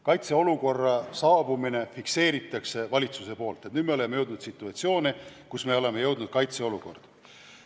Valitsus fikseerib kaitseolukorra tekke: nüüd me oleme jõudnud situatsiooni, kus on tekkinud kaitseolukord.